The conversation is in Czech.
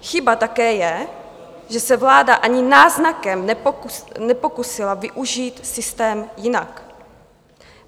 Chyba také je, že se vláda ani náznakem nepokusila využít systém jinak.